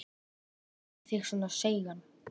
Hvað gerir þig svona seigan?